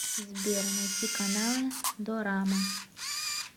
сбер найти каналы дорама